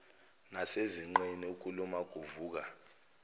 nasezinqeni ukuluma kuvuka